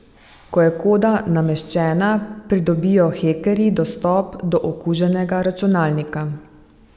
Ko je koda nameščena, pridobijo hekerji dostop do okuženega računalnika.